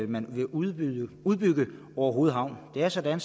man vil udbygge orehoved havn det er sådan